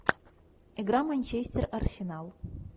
игра манчестер арсенал